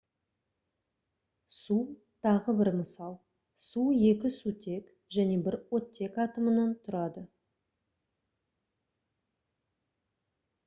су тағы бір мысал су екі сутек және бір оттек атомынан тұрады